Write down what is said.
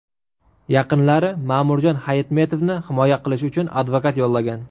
Yaqinlari Ma’murjon Hayitmetovni himoya qilish uchun advokat yollagan.